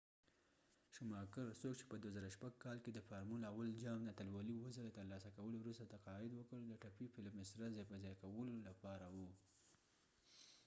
شوماکر څوک چې په ۲۰۰۶ کال کې د فارمول ۱ جام اتلولي اوه ځله ترلاسه کولو وروسته تقاعد وکړ، د ټپي فیلپ مسره ځای په ځای کولو لپاره و